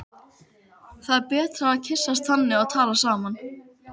Það er betra að kyssast þannig og tala saman.